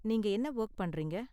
நீங்க என்ன வொர்க் பண்றீங்க?